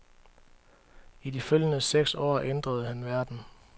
I de følgende seks år ændrede han verden.